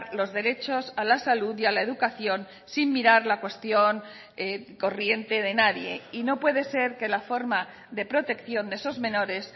los derechos a la salud y a la educación sin mirar la cuestión corriente de nadie y no puede ser que la forma de protección de esos menores